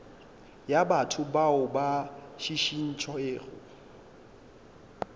ya batho bao ba šišintšwego